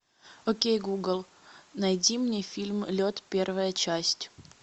окей гугл найди мне фильм лед первая часть